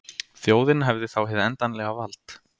Þjóðin hefði þá hið endanlega vald